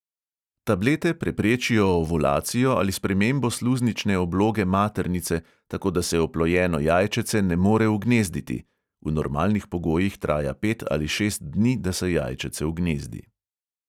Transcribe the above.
Tablete preprečijo ovulacijo ali spremembo sluznične obloge maternice, tako da se oplojeno jajčece ne more ugnezditi (v normalnih pogojih traja pet ali šest dni, da se jajčece ugnezdi).